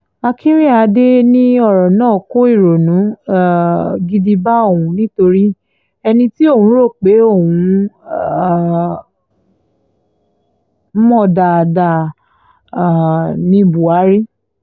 akinrínádádé ní ọ̀rọ̀ náà kó ìrònú um gidi bá òun nítorí ẹni tí òun rò pé òun mọ̀ dáadáa um ní buhari